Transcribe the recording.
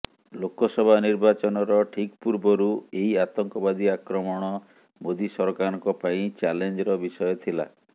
ଲୋକସଭା ନିର୍ବାଚନର ଠିକ ପୂର୍ବରୁ ଏହି ଆତଙ୍କବାଦୀ ଆକ୍ରମଣ ମୋଦି ସରକାରଙ୍କ ପାଇଁ ଚ୍ୟାଲେଞ୍ଜର ବିଷୟ ଥିଲା